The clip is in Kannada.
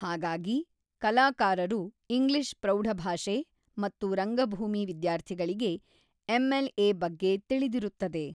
ಹಾಗಾಗಿ ಕಲಾಕಾರರು ಇಂಗ್ಲಿಷ್ ಪ್ರೌಢಭಾಷೆ ಮತ್ತು ರಂಗಭೂಮಿ ವಿದ್ಯಾರ್ಥಿಗಳಿಗೆ ಎಂಎಲ್ಎ ಬಗ್ಗೆ ತಿಳಿದಿರುತ್ತದೆ.